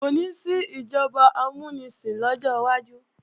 Kò ní sí ìjọba amúnisìn lọ́jọ́ wájú